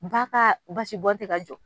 Ba ka basi bɔn ti ka jɔ